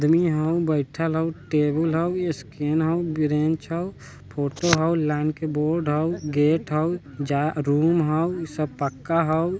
दूनू यहां बैठएल होअ टेबुल होअ स्कैन होअ ब्रेंच होअ फोटो होअ लाइन के बोर्ड होअ रूम होअ इ सब पक्का होअ।